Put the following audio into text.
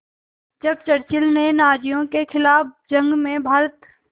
जब चर्चिल ने नाज़ियों के ख़िलाफ़ जंग में भारत